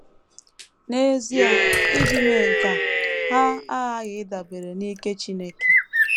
N’ezie, iji mee nke a, ha aghaghị ịdabere n’ike Chineke.